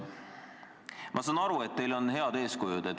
Ma saan aru, et teil on head eeskujud.